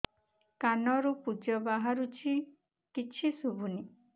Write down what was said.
କାନରୁ ପୂଜ ବାହାରୁଛି କିଛି ଶୁଭୁନି